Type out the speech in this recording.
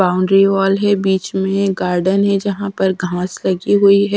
Boundary wall है बीच में गार्डन है जहां पर घास लगी हुई है।